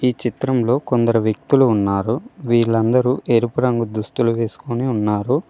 ఈ చిత్రంలో కొందరు వ్యక్తులు ఉన్నారు వీళ్ళందరూ ఎరుపు రంగు దుస్తులు వేసుకొని ఉన్నారు.